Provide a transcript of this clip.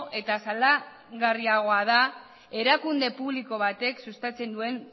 eta salagarriagoa da erakunde publiko batek sustatzen duen